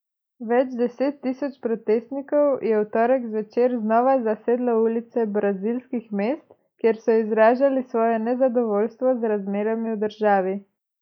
Več deset tisoč protestnikov je v torek zvečer znova zasedlo ulice brazilskih mest, kjer so izražali svoje nezadovoljstvo z razmerami v državi.